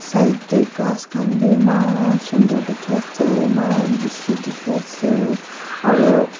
side teh ghass khan bhi eman sundar dikhi ase eman bishi dikhi ase aru--